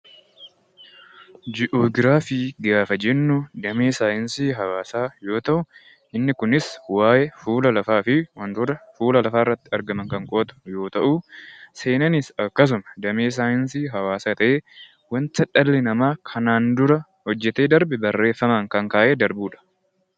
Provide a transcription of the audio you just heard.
Ji'oograafiin damee saayinsii hawaasa yoo ta'u innis waa'ee fuula lafaa fi wantoota fuula lafaa irratti argaman kan qoratu yoo ta'u, seenaanis damee saayinsii hawaasa ta'ee wanta dhalli namaa kana dura hojjete barreeffamaan kaa'ee kan darbudha.